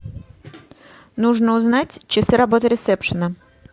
нужно узнать часы работы ресепшена